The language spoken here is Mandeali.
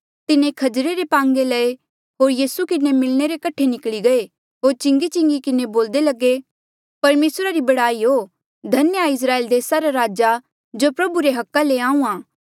तिन्हें खजरे रे पांगे लये होर यीसू किन्हें मिलणे रे कठे निकली गये होर चिंगी चिंगी किन्हें बोलदे लगे परमेसरा री बड़ाई हो धन्य आ इस्राएल देसा रा राजा जो प्रभु रे अधिकारा ले आहूँआं